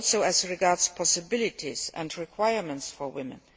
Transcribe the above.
as regards possibilities and requirements for women.